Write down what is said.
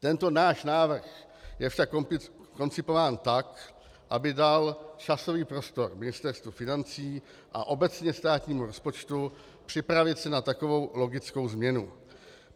Tento náš návrh je však koncipován tak, aby dal časový prostor Ministerstvu financí a obecně státnímu rozpočtu připravit se na takovou logickou změnu.